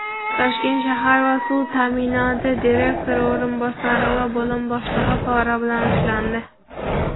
"Toshkent shahar suv ta’minoti" direktor o‘rinbosari va bo‘lim boshlig‘i pora bilan ushlandi.